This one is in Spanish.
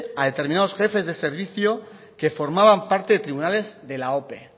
a determinados jefes de servicio que formaban parte de tribunales de la ope